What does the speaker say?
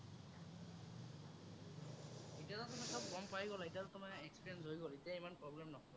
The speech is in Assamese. এতিয়াতো চব তুমি গ'ম পাই গ'লা, এতিয়াতো তোমাৰ experience হৈ গ'ল, এতিয়া ইমান problem নহ'ব আৰু।